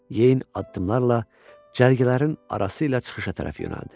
Yeyin addımlarla cərgələrin arasıyla çıxışa tərəf yönəldi.